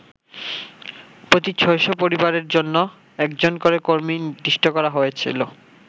প্রতি ছয়শ পরিবারের জন্য একজন করে কর্মী নির্দিষ্ট করা হয়েছিল।